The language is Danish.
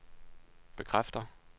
bekræfter